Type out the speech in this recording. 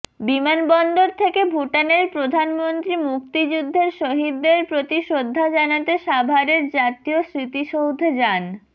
বিমানবন্দর থেকে ভুটানের প্রধানমন্ত্রী মুক্তিযুদ্ধের শহিদদের প্রতি শ্রদ্ধা জানাতে সাভারের জাতীয় স্মৃতিসৌধে যান